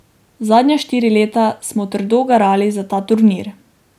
Zadnja štiri leta smo trdo garali za ta turnir.